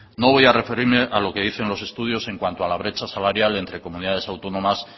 no voy a referirme a lo que dicen los estudios en cuanto a la brecha salarial entre comunidades autónomas